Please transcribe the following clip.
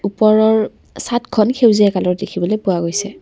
ওপৰৰ চাদখন সেউজীয়া কালাৰৰ দেখিবলৈ পোৱা গৈছে।